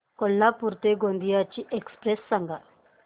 कोल्हापूर ते गोंदिया ची एक्स्प्रेस सांगा